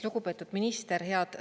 Lugupeetud minister!